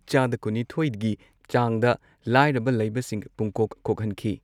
ꯆꯥꯗ ꯀꯨꯟꯅꯤꯊꯣꯏꯒꯤ ꯆꯥꯡꯗ, ꯂꯩꯕꯁꯤꯡ ꯄꯨꯡꯀꯣꯛ ꯀꯣꯛꯍꯟꯈꯤ ꯫